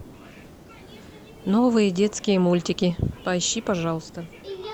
новые детские мультики поищи пожалуйста